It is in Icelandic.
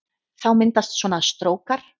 Þá myndast svona strókar